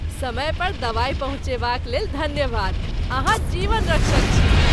समय पर दवाई पहुँचयबाक लेल धन्यवाद। अहाँ जीवन रक्षक छी।